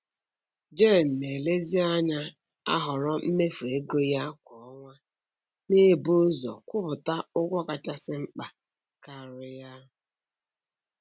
Jen na-elezianya ahoro mmefu ego ya kwa ọnwa, na-ebu ụzọ kwụpụta ụgwọ kachasi mkpa karia